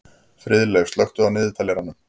Friðleif, slökktu á niðurteljaranum.